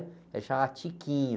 Ele chamava.